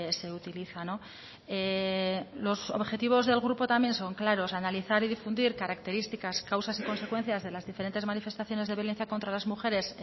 se utiliza los objetivos del grupo también son claros analizar y difundir características causas y consecuencias de las diferentes manifestaciones de violencia contra las mujeres